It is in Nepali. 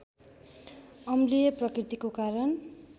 अम्लीय प्रकृतिको कारण